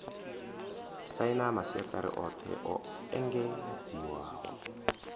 saina masiaṱari oṱhe o engedziwaho